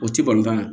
O ti balontan ye